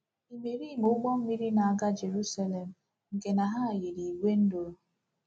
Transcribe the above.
Imerime ụgbọ mmiri na-aga Jeruselem nke na ha yiri ìgwè nduru.